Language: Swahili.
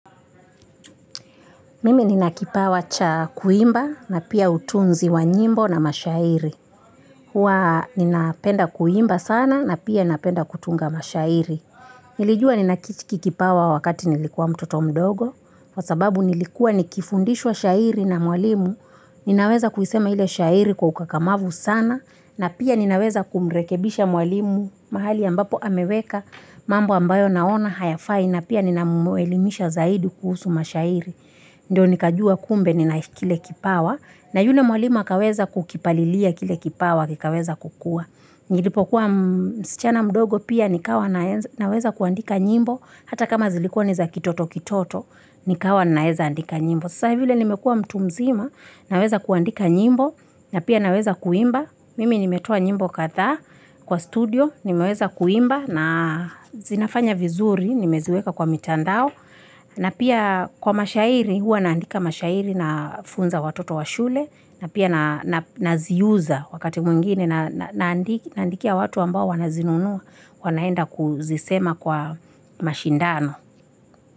Mimi nina kipawa cha kuimba na pia utunzi wa nyimbo na mashairi. Huwa nina penda kuimba sana na pia nina penda kutunga mashairi. Nilijua nina kichiki kipawa wakati nilikuwa mtoto mdogo. Wasababu nilikuwa nikifundishwa shairi na mwalimu. Ninaweza kuisema ile shairi kwa ukakamavu sana. Na pia ninaweza kumrekebisha mwalimu mahali ambapo ameweka. Mambo ambayo naona hayafai na pia nina mwelimisha zaidi kuhusu mashairi. Ndiyo nikajua kumbe ninaifikile kipawa na yule mwalimu akaweza kukipalilia kile kipawa kikaweza kukua. Nilipokuwa msichana mdogo pia nikawa naweza kuandika nyimbo hata kama zilikua niza kitoto kitoto nikawa naweza andika nyimbo. Sasahi vile nimekua mtu mzima naweza kuandika nyimbo na pia naweza kuimba. Mimi nimetoa nyimbo kadhaa kwa studio nimeweza kuimba na zinafanya vizuri nimeziweka kwa mitandao. Na pia kwa mashairi huwa naandika mashairi na funza watoto wa shule na pia naziuza wakati mwingine naandikia watu ambao wanazinunuwa wanaenda kuzisema kwa mashindano.